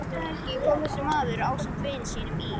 Næstu helgi kom þessi maður ásamt vini sínum í